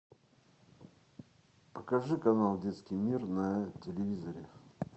покажи канал детский мир на телевизоре